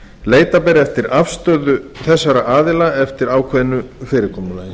leita ber eftir afstöðu þessara aðila eftir ákveðnu fyrirkomulagi